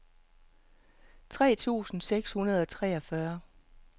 tre tusind seks hundrede og treogfyrre